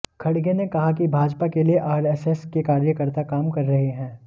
खड़गे ने कहा कि भाजपा के लिए आरएसएस के कार्यकर्ता काम कर रहे हैं